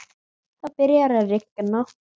Það byrjar að rigna.